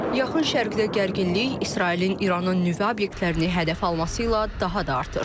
Yaxın Şərqdə gərginlik İsrailin İranın nüvə obyektlərini hədəfə alması ilə daha da artır.